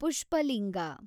Pushpalinga